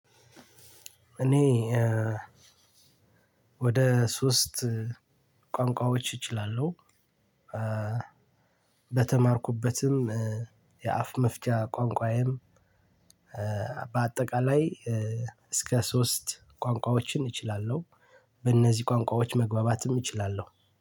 እኔ ወደ ሶስት ቋንቋዎች እችላለሁ በተማርኩበትም የአፍ መፍቻ ቋንቋዬም በአጠቃላይ እስከ ሶስት ቋንቋዎችን እችላለሁ በእነዚህ ቋንቋዎች መግባባትም እችላለሁ።